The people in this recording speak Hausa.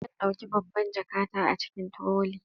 Zan dauki babban jakata a cikin trolley.